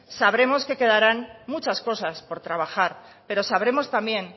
sabremos que quedarán muchas cosas por trabajar pero sabremos también